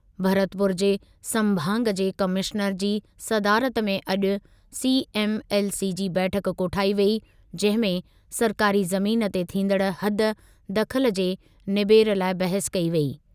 भरतपुर जे संभाग जे कमिश्नर जी सदारत में अॼु सीएमएलसी जी बैठकु कोठाई वेई, जंहिं में सरकारी ज़मीन ते थींदड़ु हद दख़ल जे निबेरे लाइ बहसु कई वेई।